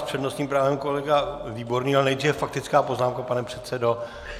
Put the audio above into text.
S přednostním právem kolega Výborný, ale nejdříve faktická poznámka, pane předsedo.